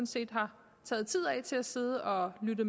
set har taget tid af til at sidde og lytte